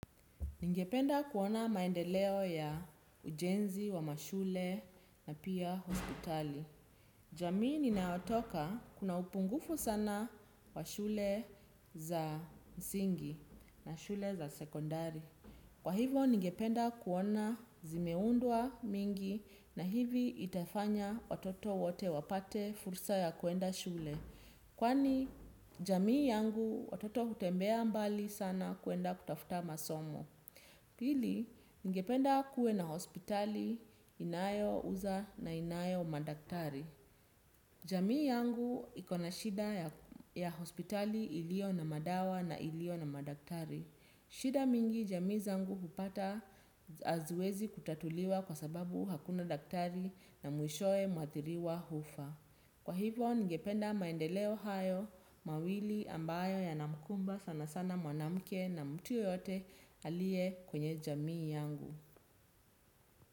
Ningependa kuona maendeleo ya ujenzi wa mashule na pia hospitali. Jamii ninayotoka kuna upungufu sana wa shule za msingi na shule za sekondari. Kwa hivo, ningependa kuona zimeundwa mingi na hivi itafanya watoto wote wapate fursa ya kuenda shule. Kwani, jamii yangu watoto hutembea mbali sana kuenda kutafuta masomo. Pili ningependa kuwe na hospitali inayouza na inayo madaktari. Jamii yangu ikona shida ya hospitali iliyo na madawa na iliyo na madaktari. Shida mingi jamii zangu hupata haziwezi kutatuliwa kwa sababu hakuna daktari na mwishowe mwathiriwa hufa. Kwa hivyo, ningependa maendeleo hayo, mawili ambayo yanamkumba sana sana mwanamke na mtu yoyote alie kwenye jamii yangu.